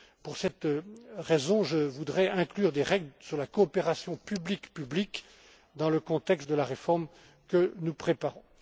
Pour cette raison, je voudrais inclure des règles sur la coopération public public dans le contexte de la réforme que nous préparons.